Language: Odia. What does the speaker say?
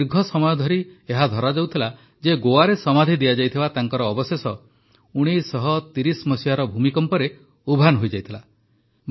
କିନ୍ତୁ ଦୀର୍ଘ ସମୟ ଧରି ଏହା ଧରାଯାଉଥିଲା ଯେ ଗୋଆରେ ସମାଧି ଦିଆଯାଇଥିବା ତାଙ୍କର ଅବଶେଷ ୧୯୩୦ ମସିହାର ଭୂମିକମ୍ପରେ ଉଭାନ ହୋଇଯାଇଥିଲା